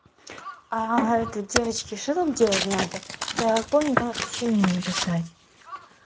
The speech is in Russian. а это девочки что там делать надо я помню там сочинение писать